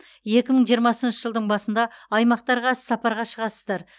екі мың жиырмасыншы жылдың басында аймақтарға іс сапарға шығасыздар